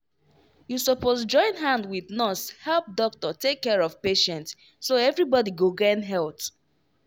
you suppose join hand wit nurse help doctor take care of patient so everybody go gain health.